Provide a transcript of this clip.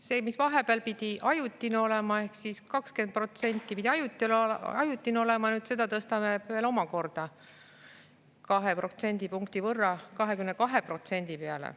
See, mis vahepeal pidi ajutine olema, 20% pidi ajuti ajutine olema, nüüd seda tõstame veel omakorda 2% võrra ehk 22% peale.